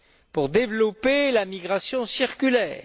pour développer la migration circulaire.